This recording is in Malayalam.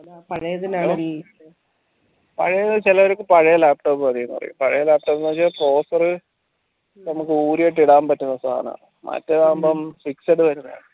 പാഴേത് ചെലവർക്ക് പഴേ laptop മതീന് പറയും പഴേ laptop ന് വെച്ച couser നൂല് കെട്ടി ഇടാൻ പറ്റുന്നെ സാനാണ് മറ്റേതാവുംബം fixed വരുന്നയാണ്